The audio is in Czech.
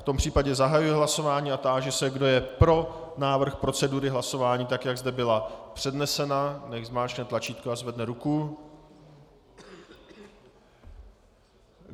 V tom případě zahajuji hlasování a táži se, kdo je pro návrh procedury hlasování tak, jak zde byla přednesena, nechť zmáčkne tlačítko a zvedne ruku.